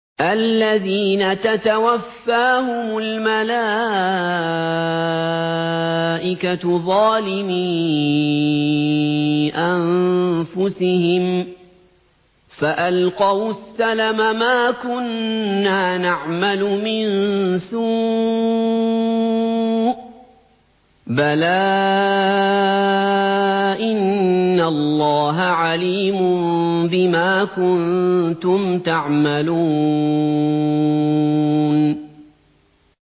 الَّذِينَ تَتَوَفَّاهُمُ الْمَلَائِكَةُ ظَالِمِي أَنفُسِهِمْ ۖ فَأَلْقَوُا السَّلَمَ مَا كُنَّا نَعْمَلُ مِن سُوءٍ ۚ بَلَىٰ إِنَّ اللَّهَ عَلِيمٌ بِمَا كُنتُمْ تَعْمَلُونَ